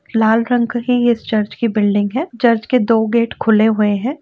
लाल रंक ही चर्च की बिल्डिंग है। चर्च के दो गेट खुले हुए हैं।